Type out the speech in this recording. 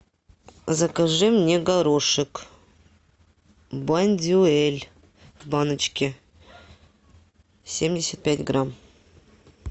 закажи мне горошек бондюэль в баночке семьдесят пять грамм